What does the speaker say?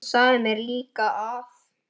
Hann sagði mér líka að